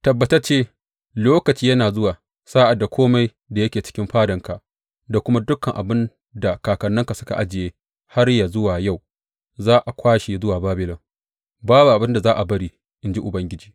Tabbatacce lokaci yana zuwa sa’ad da kome da yake cikin fadanka, da kuma dukan abin da kakanninka suka ajiye har yă zuwa yau, za a kwashe zuwa Babilon babu abin da za a bari, in ji Ubangiji.